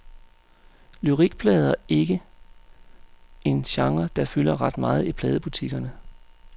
Lyrikplader ikke en genre, der fylder ret meget i pladebutikkerne.